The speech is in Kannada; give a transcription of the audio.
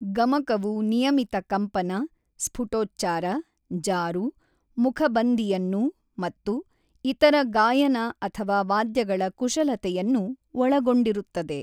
ಗಮಕವು ನಿಯಮಿತ ಕಂಪನ, ಸ್ಫುಟೋಚ್ಚಾರ, ಜಾರು, ಮುಖಬಂದಿಯನ್ನು ಮತ್ತು ಇತರ ಗಾಯನ ಅಥವಾ ವಾದ್ಯಗಳ ಕುಶಲತೆಯನ್ನು ಒಳಗೊಂಡಿರುತ್ತದೆ.